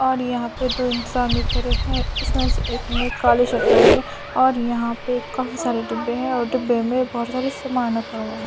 और यहां पे दो इंसान भी खड़े हैं उसमें से एक ने काली शर्ट पहनी है और यहां पे काफी सारे डिब्बें हैं और डिब्बें में बहोत सारा सामान रखा हुआ है।